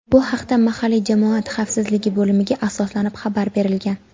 Bu haqda mahalliy jamoat xavfsizligi bo‘limiga asoslanib xabar berilgan.